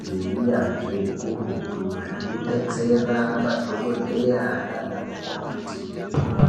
ngeunyanzvi ukurutu zvekudetsera madhokodheya nanamukoti.